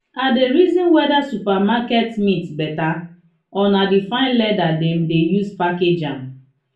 i dey reason whether supermarket meat better or na the fine leather dem de use package am.